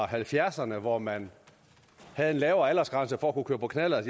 halvfjerdserne hvor man havde en lavere aldersgrænse for kunne køre på knallert